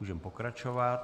Můžeme pokračovat.